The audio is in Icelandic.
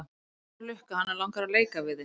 Þetta er hún Lukka, hana langar að leika við þig.